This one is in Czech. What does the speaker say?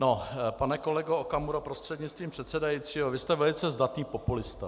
No, pane kolego Okamuro prostřednictvím předsedajícího, vy jste velice zdatný populista.